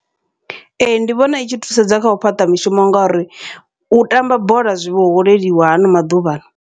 Ee, ndi vhona i tshi thusedza kha u fhaṱa mishumo, ngauri u tamba bola zwi vho holeliwa hano maḓuvha.